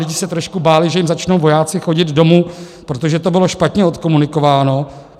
Lidi se trošku báli, že jim začnou vojáci chodit domů, protože to bylo špatně odkomunikováno.